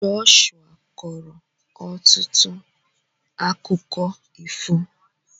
Joshua kọọrọ ọtụtụ akụkọ ifo.